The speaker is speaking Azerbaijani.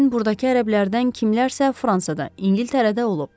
Yəqin burdakı ərəblərdən kimlərsə Fransada, İngiltərədə olub.